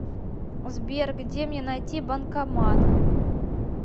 сбер где мне найти банкомат